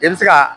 I bɛ se ka